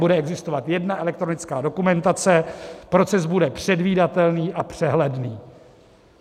Bude existovat jedna elektronická dokumentace, proces bude předvídatelný a přehledný.